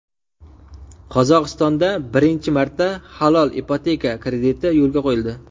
Qozog‘istonda birinchi marta halol ipoteka krediti yo‘lga qo‘yildi.